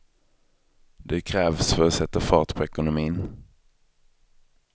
Det krävs för att sätta fart på ekonomin.